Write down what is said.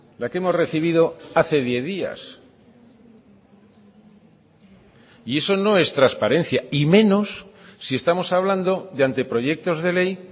la que hemos recibido hace diez días y eso no es transparencia y menos si estamos hablando de anteproyectos de ley